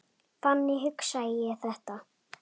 Þannig hugsa ég þetta.